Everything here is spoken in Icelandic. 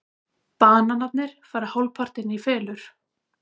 Bananarnir fara hálfpartinn í felur.